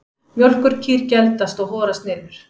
Mjólkurkýr geldast og horast niður.